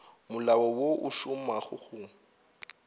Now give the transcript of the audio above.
molao wo o šomago go